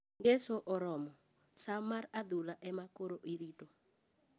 Ngeso oromo ,saa mar adhula ema koro irito .